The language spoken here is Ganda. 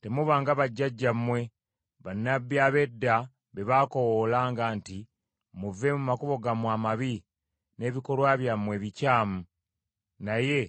Temuba nga bajjajjammwe, bannabbi ab’edda be baakoowoolanga nti, ‘Muve mu makubo gammwe amabi, n’ebikolwa byammwe ebikyamu.’ Naye